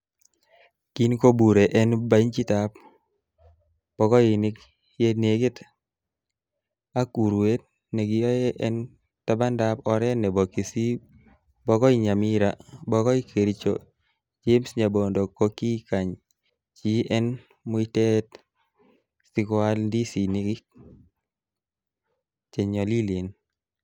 Kin kobure en benchitab bokoinik yenekit ak uruet nekiyoe en tabandab oret nebo kisii bokoi Nyamira bokoi Kericho, James nyabondo kokikany chi en muitaet siko aal ndisinikyik che nyolilen.